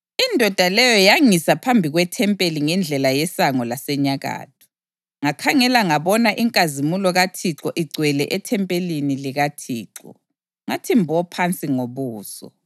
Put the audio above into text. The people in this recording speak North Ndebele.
Indoda leyo yangisa phambi kwethempeli ngendlela yesango lasenyakatho. Ngakhangela ngabona inkazimulo kaThixo igcwele ethempelini likaThixo, ngathi mbo phansi ngobuso.